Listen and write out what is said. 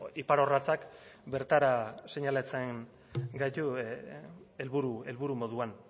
ipar orratzak beratara seinalatzen gaitu helburu moduan